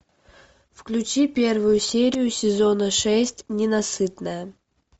включи первую серию сезона шесть ненасытная